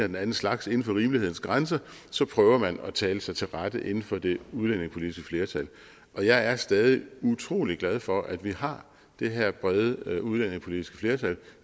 den anden slags inden for rimelighedens grænser prøver man at tale sig til rette inden for det udlændingepolitiske flertal jeg er stadig utrolig glad for at vi har det her brede udlændingepolitiske flertal